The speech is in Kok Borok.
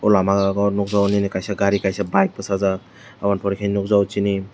o lama o nogjago nini kaisa gari kaisa bike bosajak aboni pore ke nogjago cini.